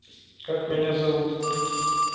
как меня зовут